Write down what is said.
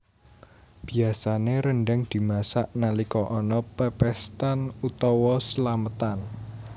Biasané rendhang dimasak nalika ana pepéstan utawa slametan